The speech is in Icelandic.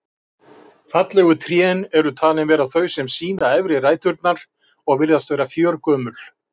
Fallegustu trén eru talin vera þau sem sýna efri ræturnar og virðast vera fjörgömul.